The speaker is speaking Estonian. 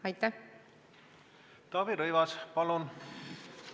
Taavi Rõivas, palun!